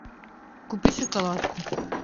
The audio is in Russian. купи шоколадку